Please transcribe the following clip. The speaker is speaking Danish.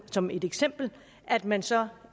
som et eksempel at man så